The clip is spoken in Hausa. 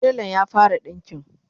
telan ya fara ɗinƙin?